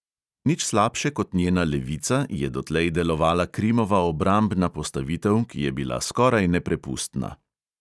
Nič slabše kot njena levica je dotlej delovala krimova obrambna postavitev, ki je bila skoraj neprepustna.